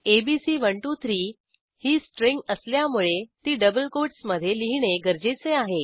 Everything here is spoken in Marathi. एबीसी123 ही स्ट्रिंग असल्यामुळे ती डबल कोटस मधे लिहिणे गरजेचे आहे